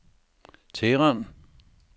Teheran